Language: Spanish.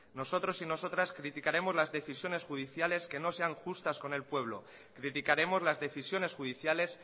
nosotros y nosotras criticaremos las decisiones judiciales que no sean justas con el pueblo criticaremos las decisiones judiciales